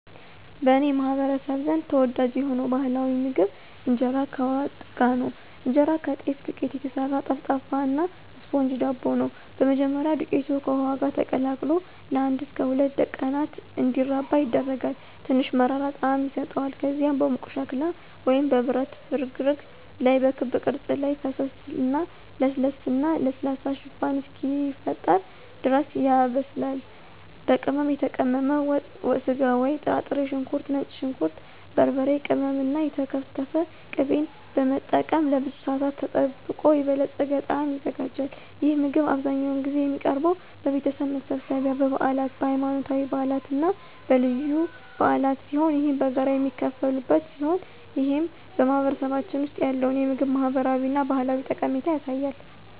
በእኔ ማህበረሰብ ዘንድ ተወዳጅ የሆነው ባህላዊ ምግብ ኢንጄራ ከዋት ጋር ነው። እንጀራ ከጤፍ ዱቄት የተሰራ ጠፍጣፋ እና ስፖንጅ ዳቦ ነው። በመጀመሪያ, ዱቄቱ ከውሃ ጋር ተቀላቅሎ ለአንድ እስከ ሁለት ቀናት እንዲራባ ይደረጋል, ትንሽ መራራ ጣዕም ይሰጠዋል. ከዚያም በሙቅ ሸክላ ወይም በብረት ፍርግርግ ላይ በክብ ቅርጽ ላይ ፈሰሰ እና ለስላሳ እና ለስላሳ ሽፋን እስኪፈጠር ድረስ ያበስላል. ዋት፣ በቅመም የተቀመመ ወጥ ስጋ ወይም ጥራጥሬ፣ ሽንኩርት፣ ነጭ ሽንኩርት፣ በርበሬ ቅመም እና የተከተፈ ቅቤን በመጠቀም ለብዙ ሰአታት ተጠብቆ የበለፀገ ጣዕም ይዘጋጃል። ይህ ምግብ አብዛኛውን ጊዜ የሚቀርበው በቤተሰብ መሰብሰቢያ፣ በበዓላት፣ በሃይማኖታዊ በዓላት እና በልዩ በዓላት ሲሆን ይህም በጋራ የሚካፈሉበት ሲሆን ይህም በማህበረሰባችን ውስጥ ያለውን የምግብ ማህበራዊ እና ባህላዊ ጠቀሜታ ያሳያል።